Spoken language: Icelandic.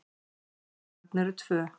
Hans börn eru tvö.